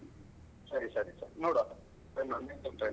ಸರಿ ಸರಿ ಸರಿ ನೋಡುವ try ಮಾಡ್ತೇನೆ try.